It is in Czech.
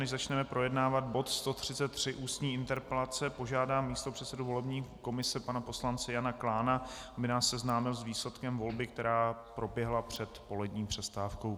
Než začneme projednávat bod 133, ústní interpelace, požádám místopředsedu volební komise pana poslance Jana Klána, aby nás seznámil s výsledkem volby, která proběhla před polední přestávkou.